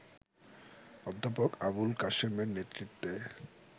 অধ্যাপক আবুল কাসেমের নেতৃত্বে